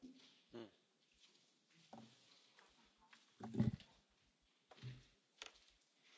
Vážené kolegyne, kolegovia, dovoľte mi urobiť pár poznámok k témam, ktoré ste